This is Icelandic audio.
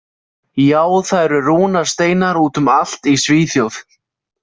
Já, það eru rúnasteinar út um allt í Svíþjóð.